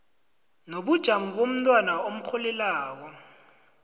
nobujamo bomntwana omrholelako